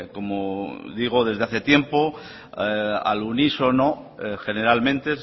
como digo desde hace tiempo al unísono generalmente